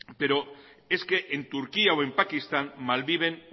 pero es que en turquía o pakistán malviven